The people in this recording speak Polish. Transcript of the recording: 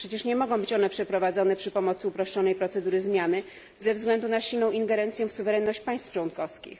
Przecież nie mogą być one przeprowadzone przy pomocy uproszczonej procedury zmiany ze względu na silną ingerencję w suwerenność państw członkowskich.